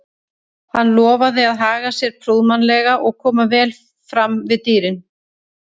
Hann lofaði að haga sér prúðmannlega og koma vel fram við dýrin.